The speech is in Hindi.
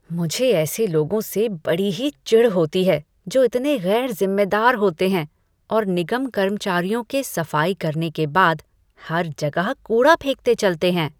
मुझे ऐसे लोगों से बड़ी ही चिढ़ होती है जो इतने गैर ज़िम्मेदार होते हैं और निगम कर्मचारियों के सफाई करने के बाद हर जगह कूड़ा फेंकते चलते हैं।